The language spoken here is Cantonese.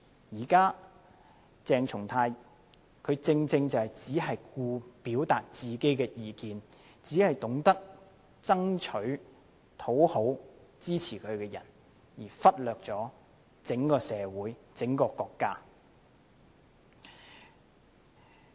現時鄭松泰議員正正只顧表達自己的意見，只懂得討好支持他的人，而忽略整個社會和國家。